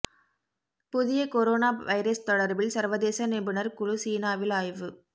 புதிய corona virus தொடர்பில் சர்வதேச நிபுணர் குழு சீனாவில் ஆய்வு